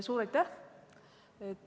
Suur aitäh!